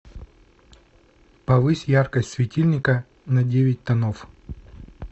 повысь яркость светильника на девять тонов